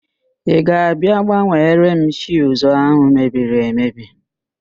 Ị ga-abịa gbanwere m fiuzu ahụ mebiri emebi?